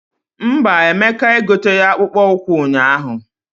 Mba, Emeka egoteghi akpụkpọ ụkwụ ụnyaahụ.